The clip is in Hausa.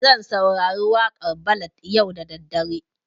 Zan saurari waƙan ballad yau da daddare